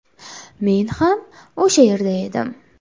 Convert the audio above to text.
Men ham o‘sha yerda edim.